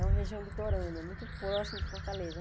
É uma região litorânea, muito próxima de Fortaleza.